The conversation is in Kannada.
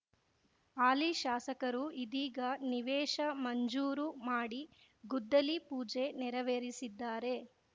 ಹಾಲಿ ಶಾಸಕರು ಇದೀಗ ನಿವೇಶ ಮಂಜೂರು ಮಾಡಿ ಗುದ್ದಲಿ ಪೂಜೆ ನೆರವೇರಿಸಿದ್ದಾರೆ